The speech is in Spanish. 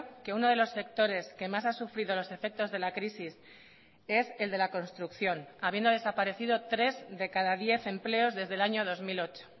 que uno de los sectores que más ha sufrido los efectos de la crisis es el de la construcción habiendo desaparecido tres de cada diez empleos desde el año dos mil ocho